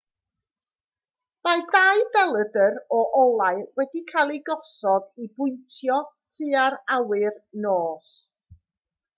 mae dau belydr o olau wedi cael eu gosod i bwyntio tua'r awyr dros nos